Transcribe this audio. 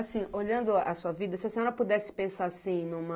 Assim, olhando a sua vida, se a senhora pudesse pensar, assim, numa...